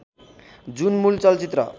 जुन मूल चलचित्र